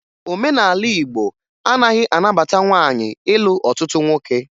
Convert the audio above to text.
Omenala Igbo anaghị anabata nwaanyị ịlụ ọtụtụ nwoke